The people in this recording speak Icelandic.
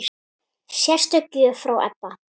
Sérstök gjöf frá Ebba.